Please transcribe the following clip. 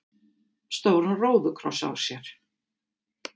stóran róðukross á sér.